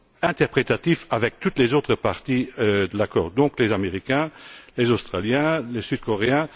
interprétatif avec toutes les autres parties à l'accord, à savoir les Américains, les Australiens, les Sud Coréens.